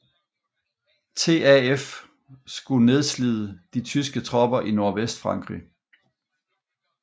TAF skulle nedslide de tyske tropper i Nordvestfrankrig